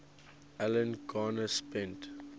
alan garner spent